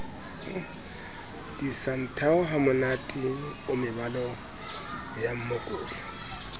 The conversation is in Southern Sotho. disanthao hamonate o mebala yamookodi